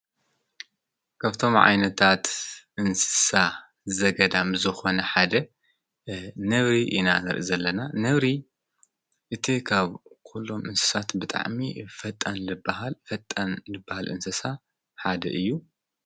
ከፍቶም ዓይነታት እንስሳ ዘገዳም ዝኾነ ሓደ ነብሪ ኢና እንርኢ ዘለና ነብሪ እቲ ኻብ ኲሎም እንስሳት ብጣዕሚ ፈጣን ዝበሃል እንስሳ ሓደ እዩ።